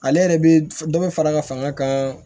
Ale yɛrɛ bɛ dɔ bɛ fara a ka fanga kan